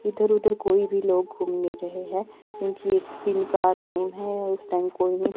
इधर उधर कोई भी लोग घूम नही रहे हैं क्योंकि इस टिम का टाइम है और उस टाइम कोई नहीं--